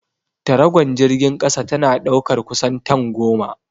Taragon jirgin kasa tana ɗaukar kusan tan goma.